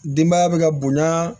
Denbaya bɛ ka bonya